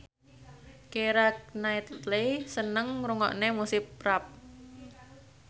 Keira Knightley seneng ngrungokne musik rap